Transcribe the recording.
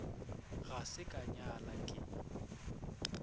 ga se ka nyala ke